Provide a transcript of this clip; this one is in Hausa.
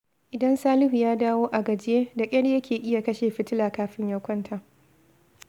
Idan Salihu ya dawo a gajiye, da ƙyar yake iya kashe fitila kafin ya kwanta